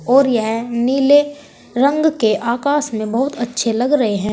और यह नीले रंग के आकाश में बहुत अच्छे लग रहे हैं।